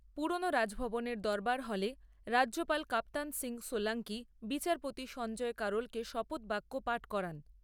পুরনো রাজভবনের দরবার হলে রাজ্যপাল কাপ্তান সিং সোলাঙ্কি বিচারপতি সঞ্জয় কারোলকে শপথ বাক্য পাঠ করান।